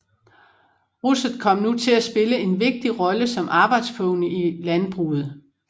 Russet kom nu til at spille en vigtig rolle som arbejdspony i landbruget